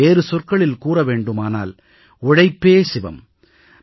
இதை வேறு சொற்களில் கூற வேண்டுமானால் உழைப்பே சிவம்